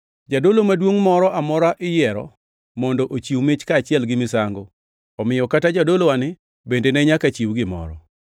Jadolo Maduongʼ moro amora iyiero mondo ochiw mich kaachiel gi misango, omiyo kata jadolowani bende ne nyaka chiw gimoro.